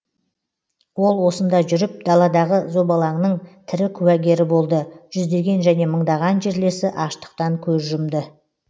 ол осында жүріп даладағы зобалаңның тірі куәгері болды жүздеген және мыңдаған жерлесі аштықтан көз жұмды